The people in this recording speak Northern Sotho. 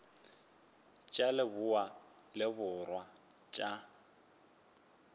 tša leboa le borwa tša